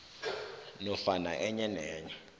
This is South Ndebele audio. nofana enye nenye